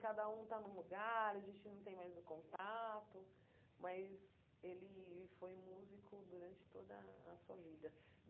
Cada um está num lugar, a gente não tem mais o contato, mas ele foi músico durante toda a sua vida.